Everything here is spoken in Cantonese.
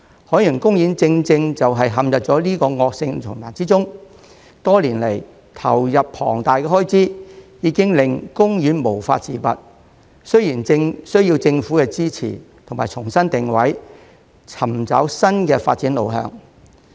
海洋公園正正是陷入這個惡性循環中，多年來投入了龐大的開支，已經令公園無法自拔，需要政府支持，重新定位，尋找新的發展路向。